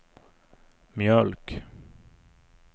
mjölk